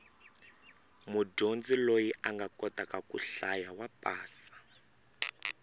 mudyondzi loyi a kotaka ku hlaya wa pasa